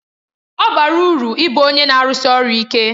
Ọ bara uru ịbụ onye na-arụsi ọrụ ike